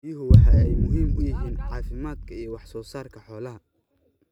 Biyuhu waxa ay muhiim u yihiin caafimaadka iyo wax soo saarka xoolaha.